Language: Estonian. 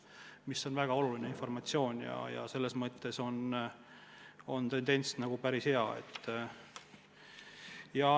See on väga oluline informatsioon ja see tendents on hea.